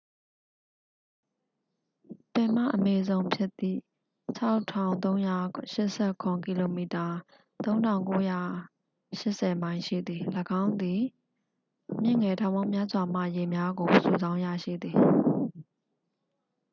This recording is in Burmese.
ပင်မအမေဇုန်ဖြစ်သည် ၆၃၈၇ ကီလိုမီတာ ၃၉၈၀ မိုင် ရှိသည်။ ၎င်းသည် မြစ်ငယ်ထောင်ပေါင်းများစွာမှ ရေများကို စုဆောင်းရရှိသည်။